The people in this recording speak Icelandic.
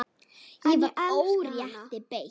En ég elska hana.